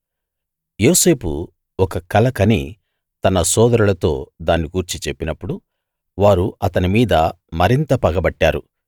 యోసేపు ఒక కల కని తన సోదరులతో దాన్ని గూర్చి చెప్పినప్పుడు వారు అతని మీద మరింత పగపట్టారు